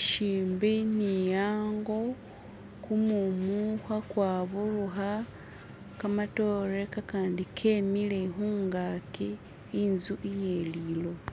shimbi ni hango kumumu khekwaburukha kamatore kakandi khemile khumgaki inzu iye liloba